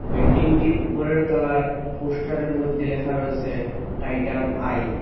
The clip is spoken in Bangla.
বিল্ডিং -টির উপরের তলায় পোস্টার -এর মধ্যে লেখা রয়েছে টাইটান আই ।